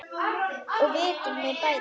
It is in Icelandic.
Það vitum við bæði.